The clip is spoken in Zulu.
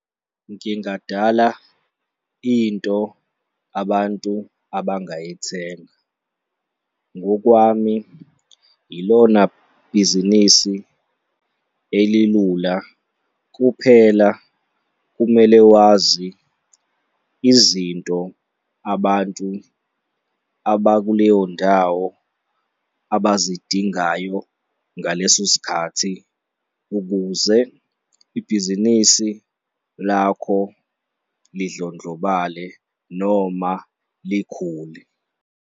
Ngingadala into abantu abantu abangayithenga. Ngokwami, ilona bhizinisi elilula, kuphela kumele wazi izinto abantu abakuleyo ndawo abazidingayo ngaleso sikhathi ukuze ibhizinisi lakho lidlondlobale noma likhule.